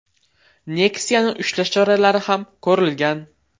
Nexia’ni ushlash choralari ham ko‘rilgan.